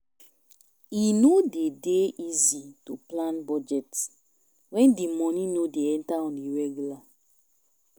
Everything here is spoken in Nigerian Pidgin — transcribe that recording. E no de dey easy to plan budget when di money no dey enter on a regular